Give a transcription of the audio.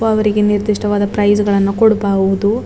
ಅವರಿಗೆ ನಿರ್ದಿಷ್ಟವಾದ ಪ್ರೈಜ್ಗಳನ್ನು ಕೊಡ್ಬಹುದು.